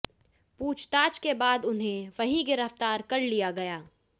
पूछताछ के बाद उन्हें वहीं गिरफ्तार कर लिया गया